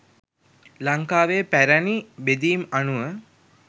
ලංකාවේ පැරැණි බෙදීම් අනුව